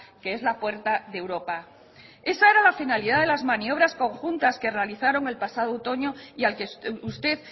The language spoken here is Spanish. que es la puerta de europa esa era la finalidad de las maniobras conjuntas que realizaron el pasado otoño y al que usted